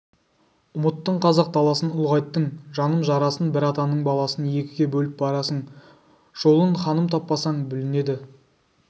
ұмыттың қазақ даласын ұлғайттың жаным жарасын бір атаның баласын екіге бөліп барасың жолын ханым таппасаң бүлінеді